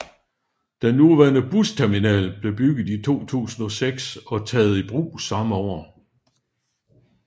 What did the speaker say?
Den nuværende busterminal blev bygget i 2006 og taget i brug samme år